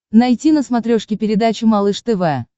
найти на смотрешке передачу малыш тв